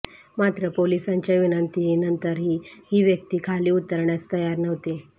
मात्र पोलिसांच्या विनंतीहीनंतरही ही व्यक्ती खाली उतरण्यास तयार नव्हती